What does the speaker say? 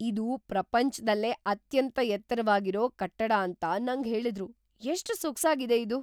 ಇದು ಪ್ರಪಂಚ್ದಲ್ಲೇ ಅತ್ಯಂತ ಎತ್ತರವಾಗಿರೋ ಕಟ್ಟಡ ಅಂತ ನಂಗ್ ಹೇಳಿದ್ರು. ಎಷ್ಟ್‌ ಸೊಗ್ಸಾಗಿದೆ ಇದು!